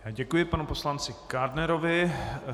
Děkuji panu poslanci Kádnerovi.